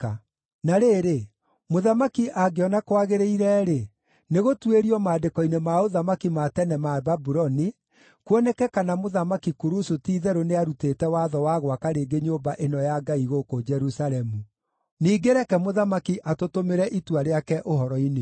Na rĩrĩ, mũthamaki angĩona kwagĩrĩire-rĩ, nĩgũtuĩrio maandĩko-inĩ ma ũthamaki ma tene ma Babuloni, kuoneke kana Mũthamaki Kurusu ti-itherũ nĩarutĩte watho wa gwaka rĩngĩ nyũmba ĩno ya Ngai gũkũ Jerusalemu. Ningĩ reke mũthamaki atũtũmĩre itua rĩake ũhoro-inĩ ũcio.